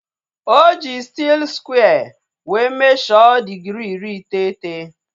Oji stiil skware wee mesho digirii iri iteghete